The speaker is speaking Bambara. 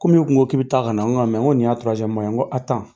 Ko min e kun ko k'i bɛ taa ka na n ga n ko nin y'a n ko